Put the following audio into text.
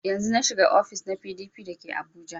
Yanzun na shiga ofis na PDP da ke abuja